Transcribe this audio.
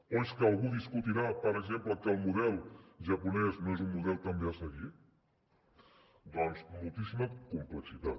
o és que algú discutirà per exemple que el model japonès no és un model també a seguir doncs moltíssima complexitat